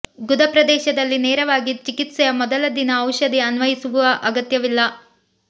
ಗುದ ಪ್ರದೇಶದಲ್ಲಿ ನೇರವಾಗಿ ಚಿಕಿತ್ಸೆಯ ಮೊದಲ ದಿನ ಔಷಧಿ ಅನ್ವಯಿಸು ಅಗತ್ಯವಿಲ್ಲ